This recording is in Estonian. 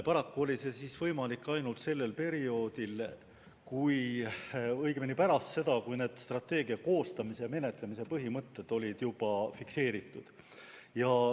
Paraku oli see võimalik alles pärast seda, kui strateegia koostamise ja menetlemise põhimõtted olid juba fikseeritud.